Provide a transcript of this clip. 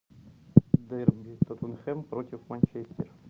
дерби тоттенхэм против манчестер